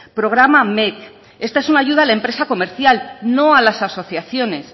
programa mec esta es una ayuda a la empresa comercial no a las asociaciones